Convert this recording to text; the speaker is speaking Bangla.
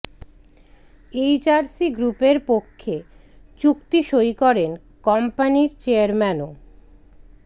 এইচআরসি গ্রুপের পক্ষে চুক্তি সই করেন কোম্পানির চেয়ারম্যান ও